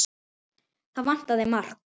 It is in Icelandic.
Það vantaði margt.